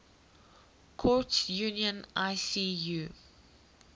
courts union icu